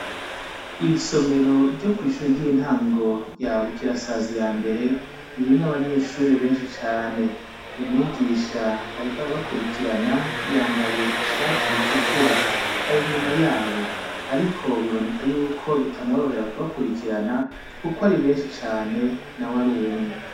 Iri somero ryo kw'ishure ry'intango rya Bukirasazi ya mbere ririmwo abanyeshuri benshi cane, umwigisha ariko arabakurikirana yambaye ishati itukura, ari inyuma yabo ariko biboneka yuko bitamworohera kubakurikirana kuko ari benshi cane nawe ari umwe.